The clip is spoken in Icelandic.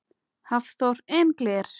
Hafþór: En gler?